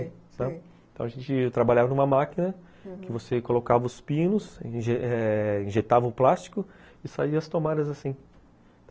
Sabe? Então a gente... trabalhava numa máquina, aham, que você colocava os pinos, injetava o plástico e saíam as tomadas assim.